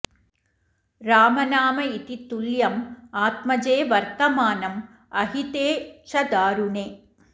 रामनाम इति तुल्यं आत्मजे वर्तमानं अहिते च दारुणे